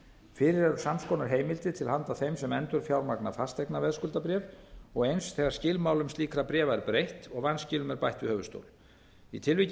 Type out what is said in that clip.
fyrir eru sams konar heimildir til handa þeim sem endurfjármagna fasteignaveðskuldabréf og eins þegar skilmálum slíkra bréfi er breytt og vanskilum er bætt við höfuðstól í tilviki